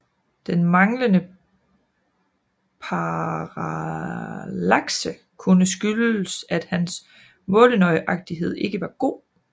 Den manglende parallakse kunne skyldes at hans målenøjagtighed ikke var god